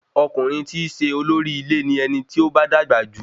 Ọkùnrin ti i ṣe olórí ilé ni ẹni tí ó bá dàgbà jù